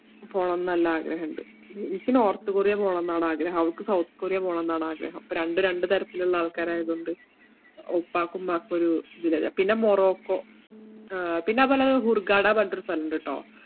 പോണംന്ന് നല്ല ആഗ്രഹിണ്ട്. എനിക്ക് നോർത്ത് കൊറിയ പോണംന്നാണ് ആഗ്രഹം. അവൾക്ക് സൗത്ത് കൊറിയ പോണംന്നാണ് ആഗ്രഹം. അപ്പോ രണ്ടും രണ്ടുതരത്തിലുള്ള ആൾക്കാരായതുകൊണ്ട് ഉപ്പാക്കും ഉമ്മാക്കും ഒരു ഇതില്ല. പിന്നെ മൊറോക്കോ ആഹ് പിന്നതുപോലന്നെ ഹൂർഗാഡ പറഞ്ഞിട്ട് ഒരു സ്ഥലം ഉണ്ട്‌ട്ടോ.